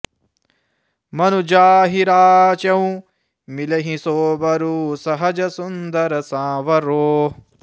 मनु जाहिं राचेऊ मिलिहि सो बरु सहज सुंदर साँवरो